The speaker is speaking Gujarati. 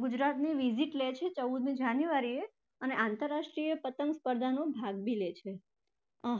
ગુજરાતની visit લે છે ચૌદમી january એ અને આંતરરાષ્ટ્રીય પતંગ સ્પર્ધા ભાગ પણ લે છે.